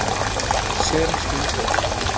sem skildi okkur að